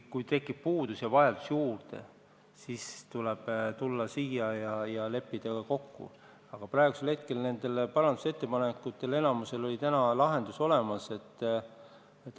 Kui tekib puudus ja raha on juurde vaja, siis tuleb tulla siia ja leppida milleski kokku, aga praegu on nende parandusettepanekute puhul enamikul lahendus olemas.